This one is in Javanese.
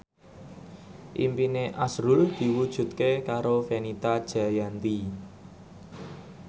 impine azrul diwujudke karo Fenita Jayanti